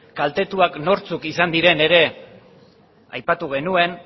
kaltetuak nortzuk izan diren ere aipatu genuen